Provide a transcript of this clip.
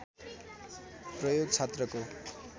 प्रयोग छात्रको